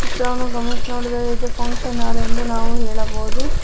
ಚಿತ್ರವನ್ನು ಗಮನಿಸಿ ನೋಡಿದರೆ ಇದು ಫಂಕ್ಷನ್ ಹಾಲ್ ಎಂದು ನಾವು ಹೇಳಬಹುದು.